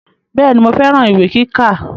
Bẹ́ẹ̀ni mo fẹ́ran ìwé kíkà